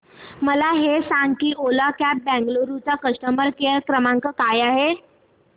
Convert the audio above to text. मला हे सांग की ओला कॅब्स बंगळुरू चा कस्टमर केअर क्रमांक काय आहे